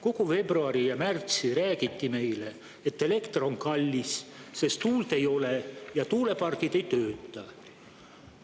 Kogu veebruar ja märts räägiti meile, et elekter on kallis, sest tuult ei ole ja tuulepargid ei tööta.